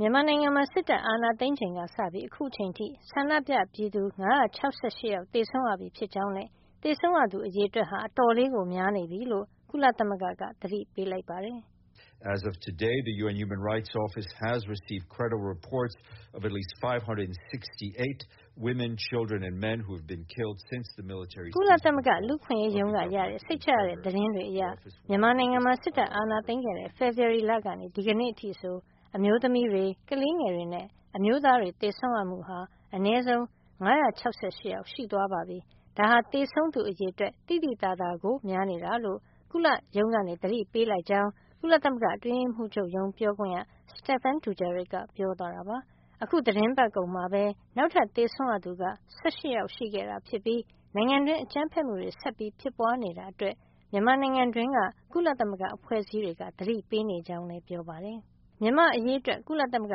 မြန်မာနိုင်ငံမှာ စစ်တပ်အာဏာသိမ်းချိန်ကစပြီး အခုအချိန်အထိ ဆန္ဒပြပြည်သူ ၅၆၈ ယောက် သေဆုံးရပြီ ဖြစ်ကြောင်းနဲ့ သေဆုံးသူ အရေအတွက်ဟာ အတော်လေးကို များနေပြီလို့ ကုလသမဂ္ဂက သတိပေးလိုက်ပါတယ်။ "ကုလသမဂ္ဂ လူ့အခွင့်ရေးရုံးက ရခဲ့တဲ့ စိတ်ချရတဲ့သတင်းတွေအရ မြန်မာနိုင်ငံမှာ စစ်တပ်အာဏာသိမ်းခဲ့တဲ့ ဖေဖေါ်ဝါရီလကနေ ဒီကနေ့အထိဆို အမျိုးသမီးတွေ၊ ကလေးငယ်တွေနဲ့ အမျိုးသားတွေ သေဆုံးရမှုဟာ အနည်းဆုံး ၅၆၈ ယောက်ရှိသွားပါပြီ။ ဒါဟာ သေဆုံးသူ အရေအတွက် သိသိသာသာကို များနေတာလို့ ကုလရုံးက သတိပေးလိုက်ကြောင်း " ကုလသမဂ္ဂအတွင်းရေးမှုးချုပ်ရုံး ပြောခွင့်ရ Stephane Dujarric က ပြောသွားတာပါ။ အခု သီတင်းပတ်ကုန်မှာပဲ နောက်ထပ်သေဆုံးရသူက ၁၈ ယောက်ရှိခဲ့ တာဖြစ်ပြီး နိုင်ငံတွင်း အကြမ်းဖက်မှုတွေ ဆက်ဖြစ်ပွါးနေတာ အတွက် မြန်မာနိုင်ငံတွင်းက ကုလသမဂ္ဂအဖွဲ့အစည်း တွေက သတိပေးနေကြောင်းလည်း ပြောပါတယ်။ မြန်မာ့အရေးအတွက် ကုလသမဂ္ဂ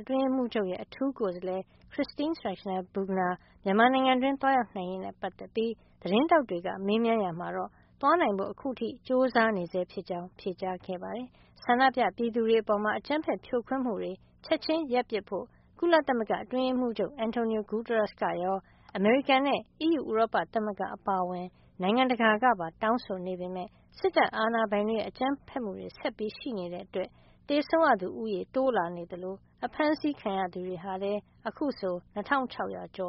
အတွင်းရေးမှူးချုပ်ရဲ့ အထူးကိုယ်စားလှယ် Christine Schraner Burgener မြန်မာပြည်တွင်း သွားရောက်နိုင်ရေးနဲ့ ပတ်သက်ပြီး သတင်းထောက်တွေက မေးမြန်းရာမှာတော့ သွားနိုင်ဖို့ အခုထိ ကြိုးစားနေဆဲ ဖြစ်ကြောင်း ဖြေကြားခဲ့ပါတယ်။ ဆန္ဒပြပြည်သူတွေအပေါ် အကြမ်းဖက်ဇြိုခွင်းမှုတွေ ချက်ချင်းရပ်ပစ်ဖို့ ကုလသမဂ္ဂအတွင်းရေးမှူးချုပ် Antonio Guterres ကရော အမေရိကန်နဲ့ အီးယူဥရောပသမဂ္ဂ အပါအဝင် နိုင်ငံတကာကပါ တောင်းဆိုနေပေမယ့် စစ်တပ်အာဏာပိုင်ရဲ့ ကြမ်းဖက်မှုတွေ ဆက်ရှိနေတာကြောင့် သေဆုံးသူဦးရေ တိုးလာနေသလို အဖမ်းဆီးခံရသူတွေကလည်း အခုဆို ၂၆၀၀ ကျော်